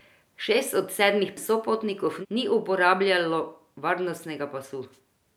Šest od sedmih sopotnikov ni uporabljajo varnostnega pasu.